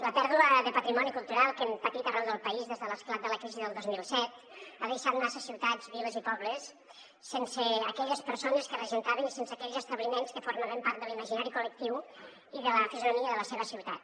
la pèrdua de patrimoni cultural que hem patit arreu del país des de l’esclat de la crisi del dos mil set ha deixat massa ciutats viles i pobles sense aquelles persones que regentaven i sense aquells establiments que formaven part de l’imaginari col·lectiu i de la fisonomia de la seva ciutat